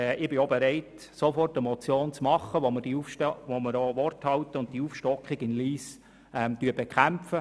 Ich bin bereit, sofort eine Motion einzureichen, in der wir Wort halten und die Aufstockung in Lyss bekämpfen.